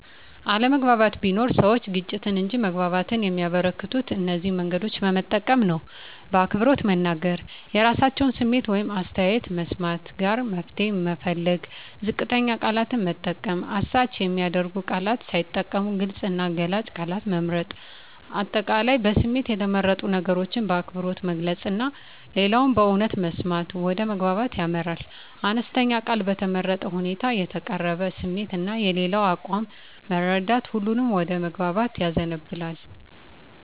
አለመግባባት ቢኖርም፣ ሰዎች ግጭትን እንጂ መግባባትን የሚያበረከቱት እነዚህን መንገዶች በመጠቀም ነው በአክብሮት መናገር – የራሳቸውን ስሜት ወይም አስተያየት መስማት ጋራ መፍትሄ መፈለግ ዝቅተኛ ቃላት መጠቀም – አሳች የሚያደርጉ ቃላት ሳይጠቀሙ ግልጽ እና ገላጭ ቃላት መምረጥ። አጠቃላይ በስሜት የተመረጡ ነገሮችን በአክብሮት መግለጽ እና ሌላውን በእውነት መስማት ወደ መግባባት ያመራል። አነስተኛ ቃል በተመረጠ ሁኔታ የተቀረበ ስሜት እና የሌላው አቋም መረዳት ሁሉንም ወደ መግባባት ያዘንባል።